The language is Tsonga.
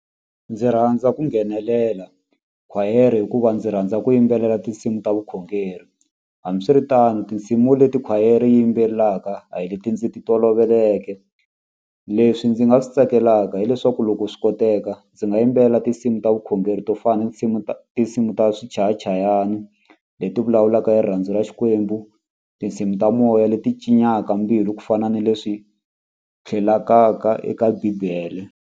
Ndzi rhandza ku nghenelela khwayere hikuva ndzi rhandza ku yimbelela tinsimu ta vukhongeri hambiswiritano tinsimu leti khwayere yimbelelaka a hi leti ndzi ti toloveleke leswi ndzi nga swi tsakelaka hileswaku loko swi koteka ndzi nga yimbelela tinsimu ta vukhongeri to fana na tinsimu ta tinsimu ta swichayachayani leti vulavulaka hi rirhandzu ra Xikwembu tinsimu ta moya leti mbilu ku fana na leswi eka bibele.